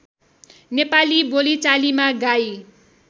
नेपाली बोलिचालीमा गाई